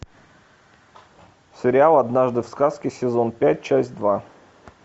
сериал однажды в сказке сезон пять часть два